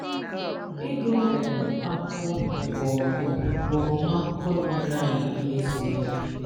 Ị́gụ̀ um ákwụ̀kwọ̀ ma ọ̀ bụ̀ ọ̀mụ̀mụ̀ bụ̀ ọ̀mụ̀mụ̀ ákwụ̀kwọ̀ na-ényerè ànyị̀ ìmèzíwànye